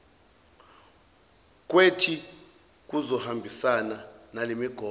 kwethi kuzohambisana nalemigomo